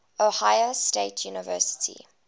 ohio state university